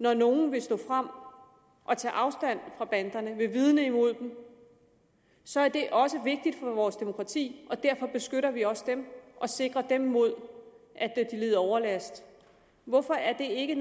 når nogen vil stå frem og tage afstand fra banderne vil vidne imod dem så er det også vigtigt for vores demokrati og derfor beskytter vi også dem og sikrer dem mod at de lider overlast hvorfor er det ikke